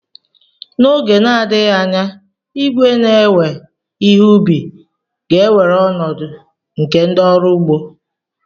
N'oge na-adịghị anya, igwe na-ewe ihe ubi ga-ewere ọnọdụ nke ndị ọrụ ugbo.